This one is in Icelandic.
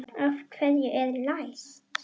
Af hverju er læst?